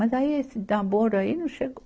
Mas aí esse namoro aí não chegou.